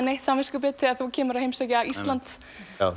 neitt samviskubit þegar þú kemur að heimsækja Íslands